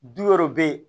Du wɛrɛw bɛ ye